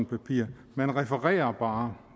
papir man refererer bare